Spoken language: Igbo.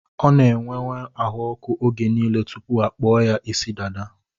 Ọ n'enwe ahụọkụ oge niile tụpụ akpụọ ya ịsị dada